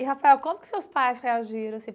E, Rafael, como que seus pais reagiram?